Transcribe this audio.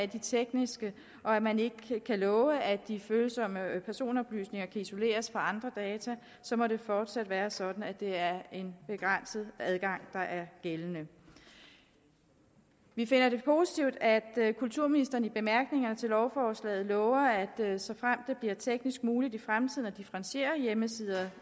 de tekniske og når man ikke kan love at de følsomme personoplysninger kan isoleres fra andre data må det fortsat være sådan at det er en begrænset adgang der er gældende vi finder det positivt at kulturministeren i bemærkningerne til lovforslaget lover at såfremt det bliver teknisk muligt i fremtiden at differentiere hjemmesider